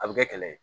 A bɛ kɛ kɛlɛ ye